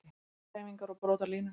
Brotahreyfingar og brotalínur